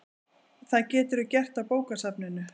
Það geturðu gert á bókasafninu